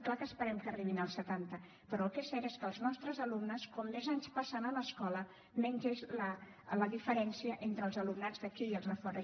clar que esperem que arribin al setanta però el que és cert és que els nostres alumnes com més anys passen a l’escola menys és la diferència entre els alumnats d’aquí i els de fora